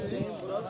Hüseyn bura.